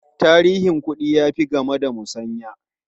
Tarihin kuɗi ya fi game da musanya.